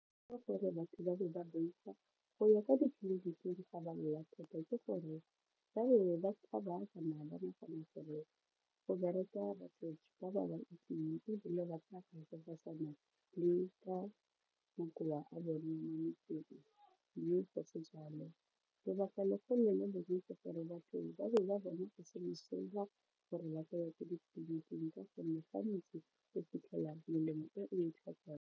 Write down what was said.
Ka gore batho ba be ba boifa go ya kwa ga ba lwala thata ke gore ba be ba tshaba go bereka ba ba ba itseng ebile ba tla le ka makoa a bone mo motseng mme fa se jalo. Lebaka legolo le lengwe ke gore batho ba be ba bona go se mosola gore ba ka ya ko ditleliniking ka gonne gantsi o fitlhela melemo e o e tlhokang.